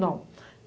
Não.